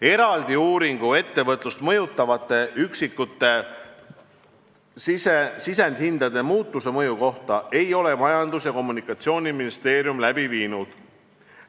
Eraldi uuringuid ettevõtlust mõjutavate üksikute sisendhindade muutuse mõju kohta ei ole Majandus- ja Kommunikatsiooniministeerium läbi viinud.